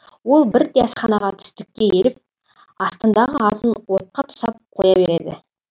ол бірде асханаға түстікке келіп астындағы атын отқа тұсап қоя береді